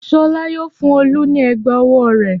Ṣọlá yóò fún Olú ní ẹ̀gbá-ọwọ́ rẹ̀.